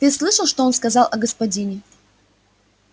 ты слышал что он сказал о господине